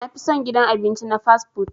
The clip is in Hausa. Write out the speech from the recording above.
Na fi son gidan abinci na "fast-food".